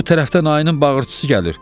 Bu tərəfdən ayının bağırtısı gəlir.